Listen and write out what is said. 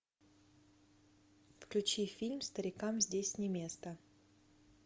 включи фильм старикам здесь не место